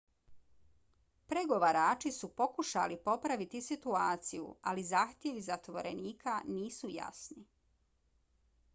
pregovarači su pokušali popraviti situaciju ali zahtjevi zatvorenika nisu jasni